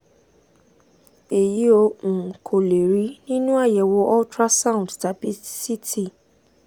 èyí o um kò lè rí nínú àyẹ̀wò ultrasound tàbí ct